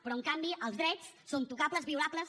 però en canvi els drets són tocables violables